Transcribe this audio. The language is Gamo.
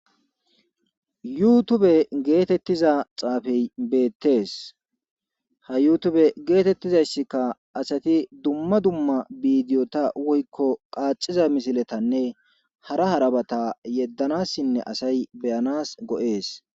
yuutube geetettiza xaafey beettees ha yuutube geetettizayssikka asati dumma dumma biidiyota woykko qaaciza misiletanne hara harabata yeddanassinne asay beyanas go7ees